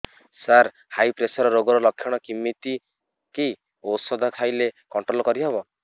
ସାର high pressure ରୋଗର ଲଖଣ କେମିତି କି ଓଷଧ ଖାଇଲେ କଂଟ୍ରୋଲ କରିହେବ